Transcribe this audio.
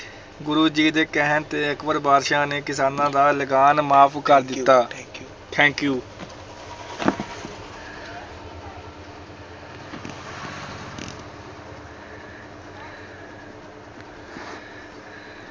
ਗੁਰੂ ਜੀ ਦੇ ਕਹਿਣ ਤੇ ਅਕਬਰ ਬਾਦਸ਼ਾਹ ਨੇ ਕਿਸਾਨਾਂ ਦਾ ਲਗਾਨ ਮਾਫ਼ ਕਰ ਦਿੱਤਾ thank you